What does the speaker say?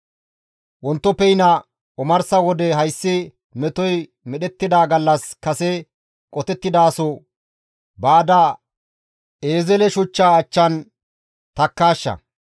Wontoppeyna omarsa wode hayssi metoy medhettida gallas kase qotettidaaso baada Eezele shuchchaa achchan takkaashsha.